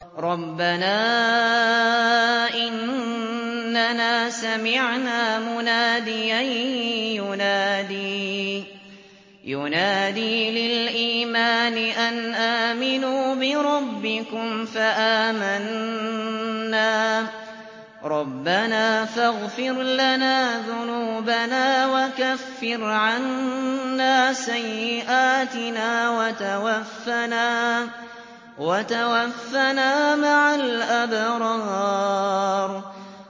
رَّبَّنَا إِنَّنَا سَمِعْنَا مُنَادِيًا يُنَادِي لِلْإِيمَانِ أَنْ آمِنُوا بِرَبِّكُمْ فَآمَنَّا ۚ رَبَّنَا فَاغْفِرْ لَنَا ذُنُوبَنَا وَكَفِّرْ عَنَّا سَيِّئَاتِنَا وَتَوَفَّنَا مَعَ الْأَبْرَارِ